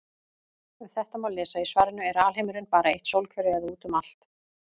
Um þetta má lesa í svarinu Er alheimurinn bara eitt sólkerfi eða út um allt?